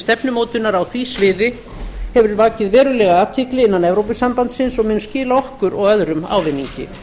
stefnumótunar á því sviði hefur vakið verulega athygli innan evrópusambandsins og mun skila okkur og öðrum ávinningi